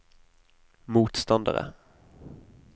motstandere